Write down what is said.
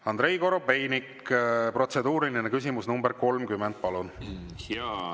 Andrei Korobeinik, protseduuriline küsimus nr 30, palun!